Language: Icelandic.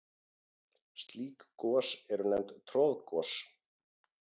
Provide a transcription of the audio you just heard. Slík gos eru nefnd troðgos.